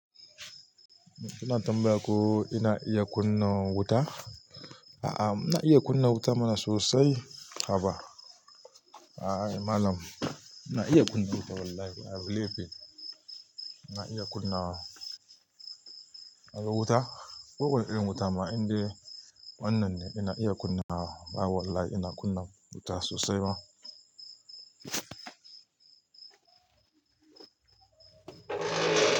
Kina tambaya ko ina iya kunna wuta? A'a, mna iya kunna wuta mana sosai. Haba! A'a Mallam, ina iya kunna wuta wallahi. Abu laifi. Ina iya kunna wuta. Kowanne irin wuta. Ma indai wannan ne ina iya kunna wa. A'a wallahi ina kunna wuta sosai ma.